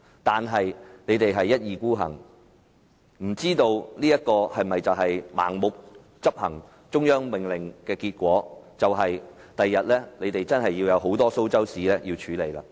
但他們一意孤行，不知道盲目執行中央命令的結果，就是日後他們真的有很多"蘇州屎"需要處理。